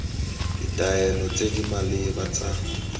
ditaelo tse di maleba tsa